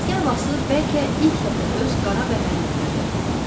Ləzgi havası bəlkə ilk dəfə öz qara bəhərini verdi.